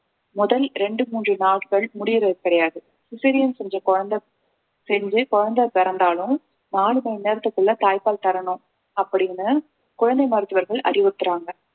முதல் இரண்டு மூன்று நாட்கள் முடியறது கிடையாது cesarean செஞ்ச குழந்தை செஞ்சு குழந்தை பிறந்தாலும் நாலு மணி நேரத்துக்குள்ள தாய்ப்பால் தரணும் அப்படின்னு குழந்தை மருத்துவர்கள் அறிவுறுத்துறாங்க